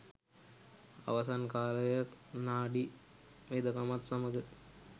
අවසන් කාලය නාඩි වෙදකමත් සමග